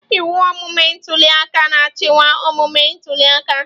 Ịwụ omume ntuli aka na-achịkwa omume ntuli aka.